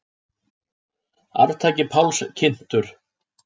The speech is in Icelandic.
Arftaki Páls kynntur